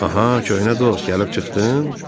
Aha, köhnə dost, gəlib çıxdın?